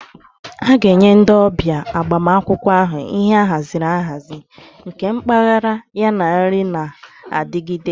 A ga-enye ndị ọbịa agbamakwụkwọ ahụ ihe ahaziri ahazi, nke mpaghara, yana nri na-adigide.